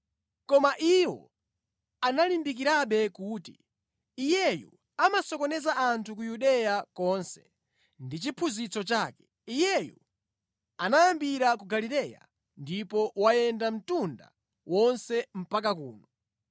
Koma iwo analimbikirabe kuti, “Iyeyu amasokoneza anthu ku Yudeya konse ndi chiphunzitso chake, Iyeyu anayambira ku Galileya ndipo wayenda mtunda wonse mpaka kuno.”